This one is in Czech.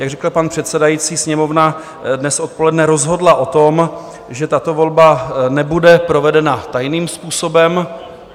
Jak řekl pan předsedající, Sněmovna dnes odpoledne rozhodla o tom, že tato volba nebude provedena tajným způsobem.